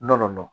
Nɔnɔ